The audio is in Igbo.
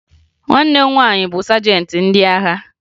Nwanne m nwaanyị bụ sajentị ndị agha